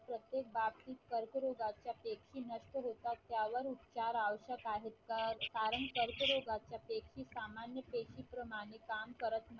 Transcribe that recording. प्रत्येक बाब ही कर्करोगाच्या पेशी नष्ट होतात त्यावर उपचारावर आवश्यक आहे कारण कर्करोगाच्या पेशी सामान्य पेशी प्रमाणे काम करत नाही.